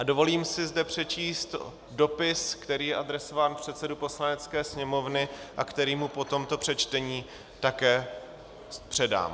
A dovolím si zde přečíst dopis, který je adresován předsedovi Poslanecké sněmovny a který mu po tomto přečtení také předám.